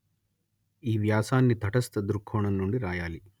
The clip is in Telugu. ఈ వ్యాసాన్ని తటస్థ దృక్కోణం నుండి రాయాలి